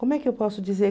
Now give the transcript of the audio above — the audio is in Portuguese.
Como é que eu posso dizer?